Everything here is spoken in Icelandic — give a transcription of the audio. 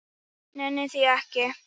Nenni því ekki